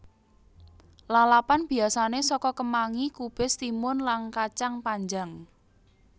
Lalapan biasané soko kemangi kubis timun lan kacang panjang